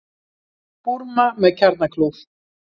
Búrma með kjarnakljúf